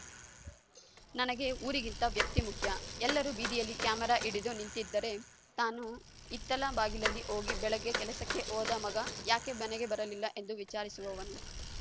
ನನಗೆ ಊರಿಗಿಂತ ವ್ಯಕ್ತಿ ಮುಖ್ಯ ಎಲ್ಲರೂ ಬೀದಿಯಲ್ಲಿ ಕ್ಯಾಮೆರಾ ಹಿಡಿದು ನಿಂತಿದ್ದರೆ ತಾನು ಹಿತ್ತಲ ಬಾಗಿಲಲ್ಲಿ ಹೋಗಿ ಬೆಳಗ್ಗೆ ಕೆಲಸಕ್ಕೆ ಹೋದ ಮಗ ಯಾಕೆ ಮನೆಗೆ ಬರಲಿಲ್ಲ ಎಂದು ವಿಚಾರಿಸುವವನು